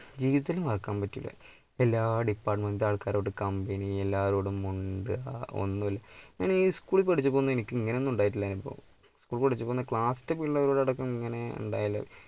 ജീവിതത്തിൽ മറക്കാൻ പറ്റില്ല. എല്ലാ department ആൾക്കാരോടും company എല്ലാവരോടും മുണ്ടുക ഒന്നുമില്ല ഞാൻ ഈ school ൽ പഠിച്ചപ്പം ഒന്നും എനിക്ക് ഇങ്ങനെ ഒന്നും ഉണ്ടായിട്ടില്ല അനുഭവം school ൽ പഠിച്ചപ്പം class ലെ ഇങ്ങനെ